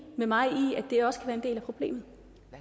med mig i problemet